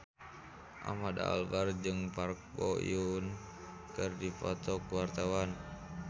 Ahmad Albar jeung Park Bo Yung keur dipoto ku wartawan